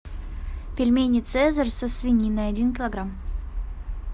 пельмени цезарь со свининой один килограмм